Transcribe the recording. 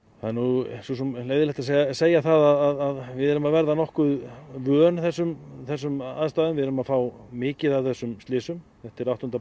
það er nú svo sem leiðinlegt að segja það að við erum að verða nokkuð vön þessum þessum aðstæðum við erum að fá mikið af þessum slysum þetta er áttunda